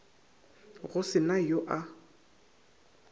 go se na yo a